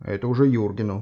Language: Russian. а это уже юргину